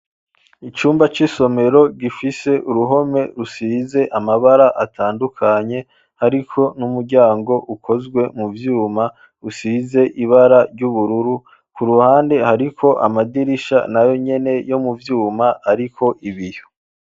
Icumba c'isomero gifise uruhome rusize amabara atandukanye ariko n'umuryango ukozwe mu vyuma usize ibara ry'ubururu ku ruhande hariko amadirisha na yonyene yo muvyuma ariko ibiyo.